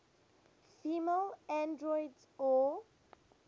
female androids or